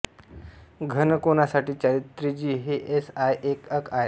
घन कोनासाठी चौत्रिज्यी हे एस आय एकक आहे